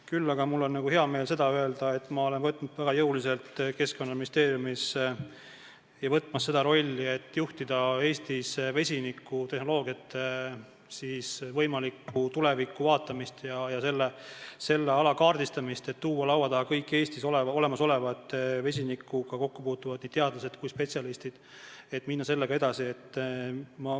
Küll aga on mul hea meel öelda, et ma olen võtnud ja olen võtmas väga jõuliselt Keskkonnaministeeriumis seda rolli, et juhtida Eestis vesinikutehnoloogia tuleviku vaatamist ja selle ala kaardistamist, tuua laua taha kõik Eestis vesinikuga kokkupuutuvad nii teadlased kui ka spetsialistid ja minna sellega edasi.